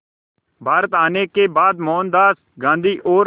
भारत आने के बाद मोहनदास गांधी और